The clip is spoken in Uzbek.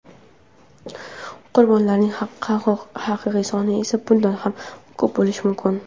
Qurbonlarning haqiqiy soni esa bundan ham ko‘p bo‘lishi mumkin.